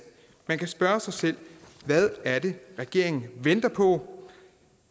man kan spørge sig selv hvad er det regeringen venter på